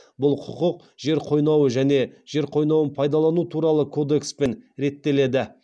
бұл құқық жер қойнауы және жер қойнауын пайдалану туралы кодекспен реттеледі